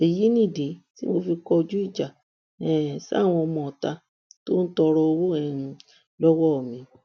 èyí nìdí tí mo fi kọjú ìjà um sáwọn ọmọọta tó tọrọ owó um lọwọ mi